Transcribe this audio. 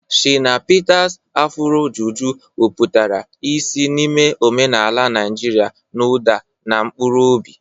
Shina Peter's Afuro Juju weputara isi n'ime omenaala Naijiria n'ụda na mkpụrụ obi.